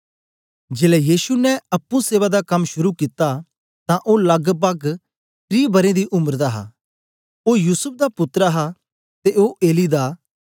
जेलै यीशु ने अप्पुं सेवा दा कम शुरू कित्ता तां ओ लगपग त्री बरें दी उम्र दा हा इयां समझया जंदा हा ओ युसूफ दा पुत्तर हा ते ओ एली दा